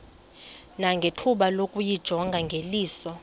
nangethuba lokuyijonga ngeliso